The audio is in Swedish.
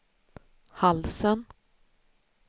halsen